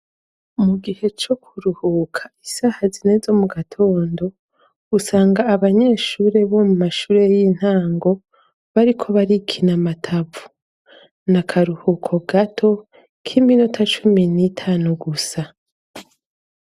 Mu gihe co kuruhuka, isaha zine zo mu gatondo usanga abanyeshure bo mu mashure y'intango bariko barikina amatavu, n'akaruhuko gato k'iminota cumi n'itanu gusa.